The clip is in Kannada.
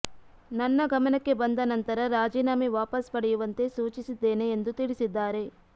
ನನ್ನ ಗಮನಕ್ಕೆ ಬಂದ ನಂತರ ರಾಜೀನಾಮೆ ವಾಪಸ್ ಪಡೆಯುವಂತೆ ಸೂಚಿಸಿದ್ದೇನೆ ಎಂದು ತಿಳಿಸಿದ್ದಾರೆ